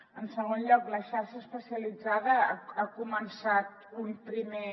en segon lloc la xarxa especialitzada ha començat un primer